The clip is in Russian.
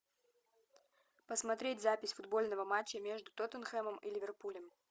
посмотреть запись футбольного матча между тоттенхэмом и ливерпулем